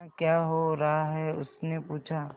यहाँ क्या हो रहा है उसने पूछा